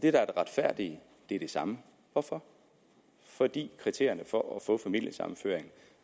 er det retfærdige er det samme hvorfor fordi kriterierne for at få familiesammenføring